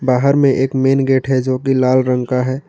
बाहर में एक मेन गेट हैं जो की लाल रंग का है।